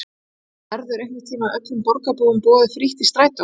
En verður einhvern tímann öllum borgarbúum boðið frítt í strætó?